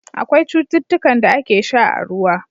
Akwai cutukan da ake sha a ruwa.